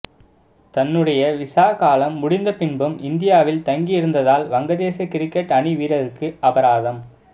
தன்னுடைய விசா காலம் முடிந்த பின்பும் இந்தியாவில் தங்கி இருந்ததால் வங்கதேச கிரிக்கெட் அணி வீரருக்கு அபராதம்